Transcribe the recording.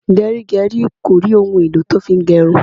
Gerigeri kò rí òun èlò tí ó fi ń gerun